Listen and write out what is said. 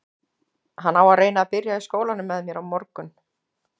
Hann á að reyna að byrja í skólanum með mér á morgun.